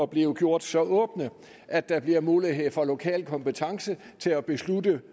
bliver gjort så åbne at der bliver mulighed for lokal kompetence til at beslutte